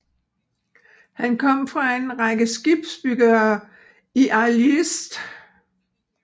Han kom fra en række skibsbyggere i IJlst